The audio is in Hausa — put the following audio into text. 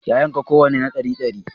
Ya yanka kowanne na ɗari dari